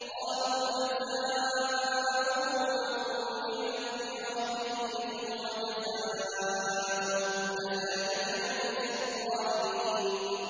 قَالُوا جَزَاؤُهُ مَن وُجِدَ فِي رَحْلِهِ فَهُوَ جَزَاؤُهُ ۚ كَذَٰلِكَ نَجْزِي الظَّالِمِينَ